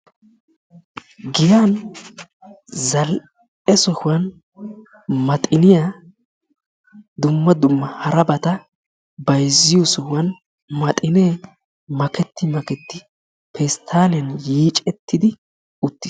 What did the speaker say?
Giyan zal'e sohuwan maxiniya dumma dumma harabata bayizziyo sohuwan maxinee maketti makettidi pesttaaliyan yiicettidi uttis.